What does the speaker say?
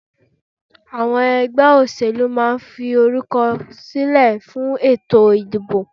Àwọn ẹgbẹ́ òṣẹ̀lú máa ń fi orúkọ silẹ fún ètò ìdìbò